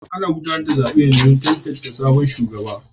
Ana gudanar da zaben ne domin tantance sabon shugaba.